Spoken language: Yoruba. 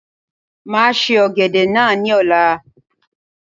Máa se Ọ̀gẹ̀dẹ̀ náà ni ọ̀la.